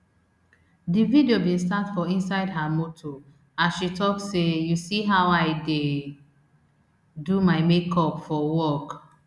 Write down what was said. di video bin start for inside her motor as she tok say you see how i dey do my make up for work